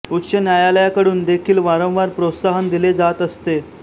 उच्च न्यायालयाकडून देखिल वारंवार प्रोत्साहन दिले जात असते